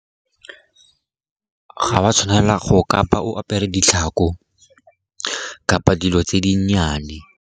Ga o a tshwanela go kapa o apere ditlhako kapa dilo tse di nnyane.